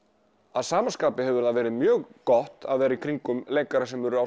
að sama skapi hefur verið mjög gott að vera í kringum leikara sem eru á